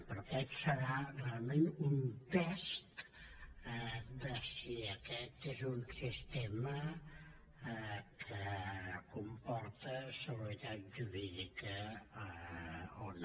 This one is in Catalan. però aquest serà realment un test de si aquest és un sistema que comporta seguretat jurídica o no